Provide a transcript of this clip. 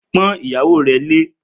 Pọ́n ìyàwó rẹ lé!